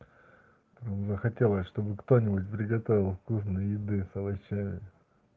захотелось чтобы кто-нибудь приготовил вкусной еды с овощами